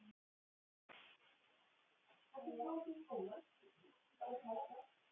Daðey, spilaðu lag.